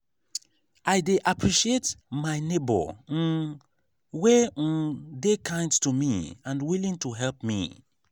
i dey appreciate my neighbor um wey um dey kind to me and willing to help me.